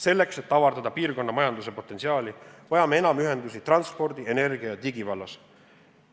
Selleks, et avardada piirkonna majanduse potentsiaali, vajame enam ühendusi transpordi-, energia- ja digivallas.